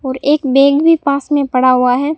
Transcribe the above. और एक बैग भी पास में पड़ा हुआ है।